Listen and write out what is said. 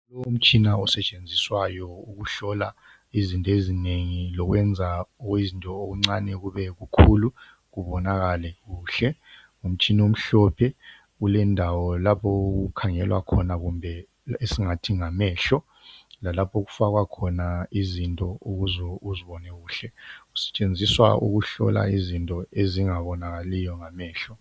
Umtshina osetshenziswayo ukuhlola izinto ezinengi lokwenza okuyizinto okuncane kube kukhulu kubonakale kuhle ngumtshina omhlophe kulendawo lapho okukhangela khona kumbe esingathi ngamehlo lalapho okufaka khona izinto ukuze uzibone kuhle kusetshenziswa ukuhlola izinto ezingabonakaliyo ngamehlo.